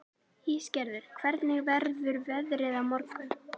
Ísgerður, hvernig verður veðrið á morgun?